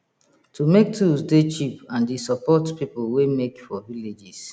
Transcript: to make tools dey cheap and e support people wey make for villages